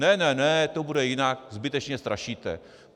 Ne, ne, ne, to bude jinak, zbytečně strašíte.